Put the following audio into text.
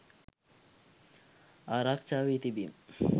ආරක්ෂා වී තිබීම